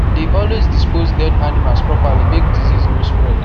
dey always dispose dead animals properly make disease no spread